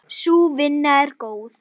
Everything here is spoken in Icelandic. Sú vinna er góð.